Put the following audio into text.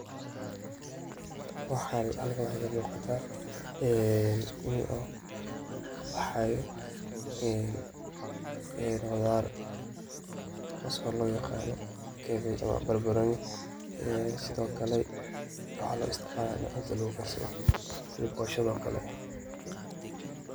Halkan waxa kamuqata inn uu kabaxayo qudar taso loyaqano barbaroni sidoklae waxa loisticmala inii cuntada lugukarsado sida boshada oo kale.